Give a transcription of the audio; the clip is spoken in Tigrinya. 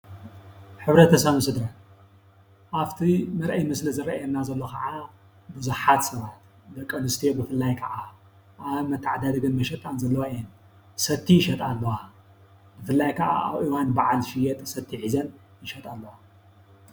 ሕብረተሰብ ምስሊ-ኣብቲ መርአዪ ምስሊ ዝርአየና ዘሎ ካዓ ብዙሓት ሰባት ደቂ ኣንስትዮ ብፍላይ ካዓ ኣብ መተዓዳደጊ ይሸጣ ዘለዋ እየን፡፡ ሰቲ ይሸጣ ኣለዋ፡፡ ብፍላይ ከዓ ኣብ እዋን በዓል ዝሽየጥ ሰቲ ሒዘን ይሸጣ ኣለዋ፡፡